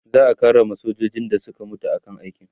za'a karrama sojojin da Suka mutu a kan aiki